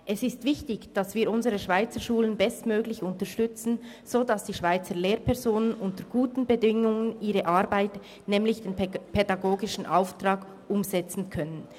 Es ist wichtig, dass wir unsere Schweizerschulen bestmöglich unterstützen, sodass die Schweizer Lehrpersonen unter guten Bedingungen ihre Arbeit leisten und den pädagogischen Auftrag umsetzen können.